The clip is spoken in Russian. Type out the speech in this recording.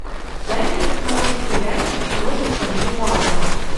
дай мне посмотреть сериальчик с робертом дювалом